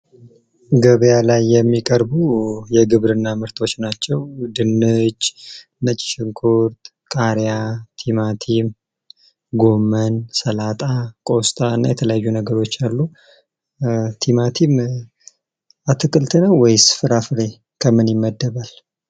ገበያ ላይ የሚቀርቡ የግብርና ምርቶች ናቸው። ድንች፣ ነጭ ሽንኩርት፣ ቃሪያ፣ ቲማቲም ፣ጎመን ፣ሰላጣ፣ ቆስጣ እና የተለያዩ ነገሮች አሉ። ቲማቲም አትክልት ነው? ወይስ ፍራፍሬ ከምን ይመደባል?